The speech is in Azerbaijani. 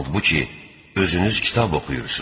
Halbuki, özünüz kitab oxuyursuz.